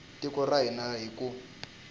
tiko ra hina hi ku